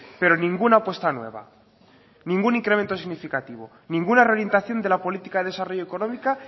pero ninguna apuesta nueva ningún incremento significativo ninguna reorientación de la política de desarrollo económica